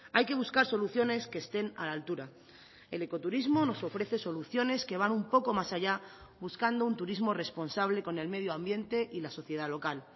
hay que buscar soluciones que estén a la altura el ecoturismo nos ofrece soluciones que van un poco más allá buscando un turismo responsable con el medio ambiente y la sociedad local